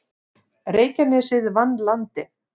Reykjanesið vann Landið